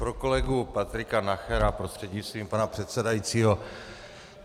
Pro kolegu Patrika Nachera prostřednictvím pana předsedajícího.